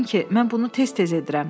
Yəqin ki, mən bunu tez-tez edirəm,